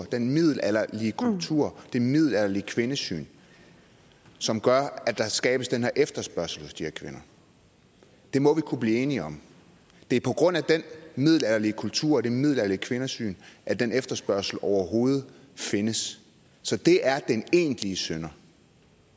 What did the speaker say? den middelalderlige kultur og det middelalderlige kvindesyn som gør at der skabes den her efterspørgsel hos de her kvinder det må vi kunne blive enige om det er på grund af den middelalderlige kultur og det middelalderlige kvindesyn at den efterspørgsel overhovedet findes så det er den egentlige synder